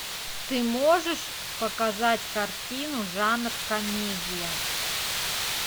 ты можешь показать картину жанр комедия